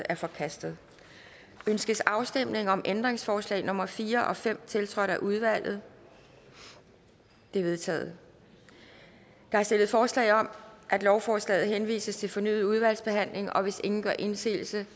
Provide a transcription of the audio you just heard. er forkastet ønskes afstemning om ændringsforslag nummer fire og fem tiltrådt af udvalget det er vedtaget der er stillet forslag om at lovforslaget henvises til fornyet udvalgsbehandling og hvis ingen gør indsigelse